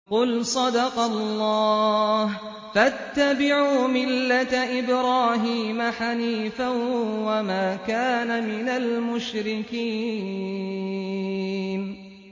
قُلْ صَدَقَ اللَّهُ ۗ فَاتَّبِعُوا مِلَّةَ إِبْرَاهِيمَ حَنِيفًا وَمَا كَانَ مِنَ الْمُشْرِكِينَ